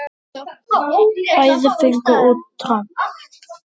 Bæði fengu út tromp.